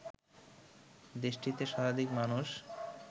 দেশটিতে শতাধিক মানুষ